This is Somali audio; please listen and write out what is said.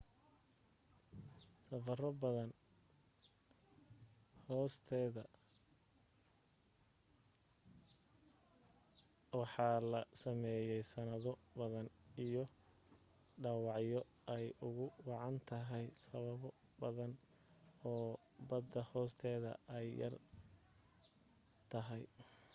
safaro badan bada hoosteda waxaa la sameeyey sanado badan iyo dhawacyo ay ugu wacan tahaya sababo badan oo bada hoosteda ay yar tahay